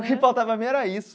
O que importava para mim era isso.